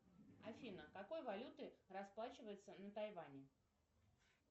афина какой валютой расплачиваются на тайване